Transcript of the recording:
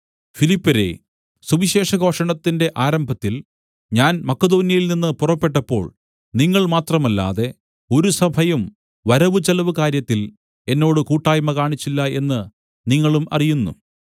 ഫിലിപ്പ്യരേ സുവിശേഷഘോഷണത്തിന്റെ ആരംഭത്തിൽ ഞാൻ മക്കെദോന്യയിൽനിന്ന് പുറപ്പെട്ടപ്പോൾ നിങ്ങൾ മാത്രമല്ലാതെ ഒരു സഭയും വരവുചെലവുകാര്യത്തിൽ എന്നോട് കൂട്ടായ്മ കാണിച്ചില്ല എന്ന് നിങ്ങളും അറിയുന്നു